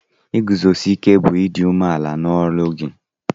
Iguzosike bu idi ume ala n'olụ gi